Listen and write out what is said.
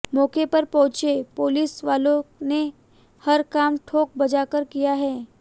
मौके पर पहुंचे पुलिस वालों ने हर काम ठोक बजाकर किया है